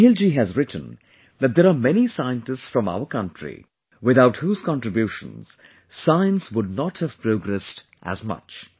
Snehil ji has written that there are many scientists from our country without whose contribution science would not have progressed as much